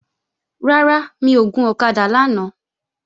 Rárá, mi ò gun ọ̀kadà lánàá